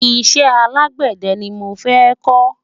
iṣẹ alágbède ní mọ fẹ ko